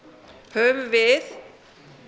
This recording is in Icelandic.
höfum við